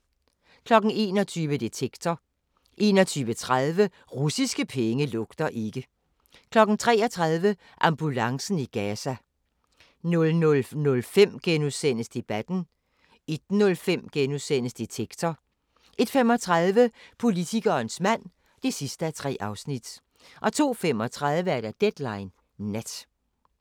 21:00: Detektor 21:30: Russiske penge lugter ikke 23:00: Ambulancen i Gaza 00:05: Debatten * 01:05: Detektor * 01:35: Politikerens mand (3:3) 02:35: Deadline Nat